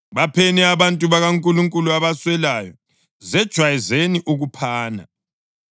Bapheni abantu bakaNkulunkulu abaswelayo. Zejwayezeni ukuphana.